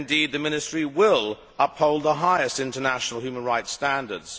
that Ministry will uphold the highest international human rights standards.